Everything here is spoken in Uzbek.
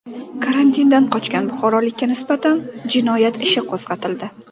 Karantindan qochgan buxorolikka nisbatan jinoyat ishi qo‘zg‘atildi.